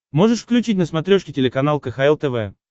можешь включить на смотрешке телеканал кхл тв